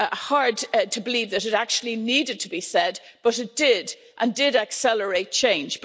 Hard to believe that it actually needed to be said, but it did, and it accelerated change.